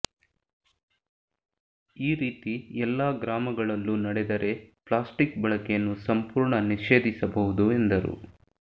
ಈ ರೀತಿ ಎಲ್ಲಾ ಗ್ರಾಮಗಳಲ್ಲೂ ನಡೆದರೆ ಪ್ಲಾಸ್ಟಿಕ್ ಬಳಕೆಯನ್ನು ಸಂಪೂರ್ಣ ನಿಷೇಧಿಸಬಹುದು ಎಂದರು